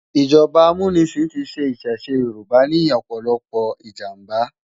ijọba ámúnisin ti ṣẹ̀ ìṣẹ̀ṣe yórùbá ni òpòlòpò ijámbá